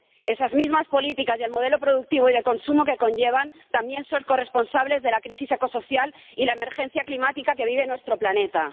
Esas mismas políticas y el modelo productivo y de consumo que conllevan también son corresponsables de la crisis ecosocial y de la emergencia climática que vive nuestro planeta.